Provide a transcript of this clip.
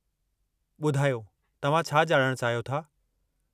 ॿुधायो, तव्हां छा ॼाणणु चाहियो था?